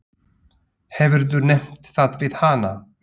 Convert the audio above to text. Hefurðu nefnt það við hana?